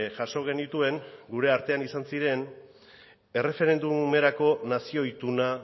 jaso genituen gure artean izan ziren erreferendumerako nazio ituna